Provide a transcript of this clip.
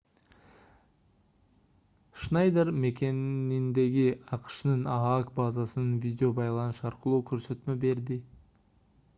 шнайдер мекениндеги акшнын аак базасынан видео байланыш аркылуу көрсөтмө берди